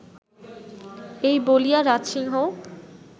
এই বলিয়া রাজসিংহ